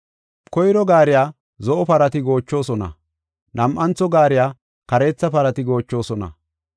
Koyro gaariya zo7o parati goochosona; nam7antho gaariya kareetha parati goochosona.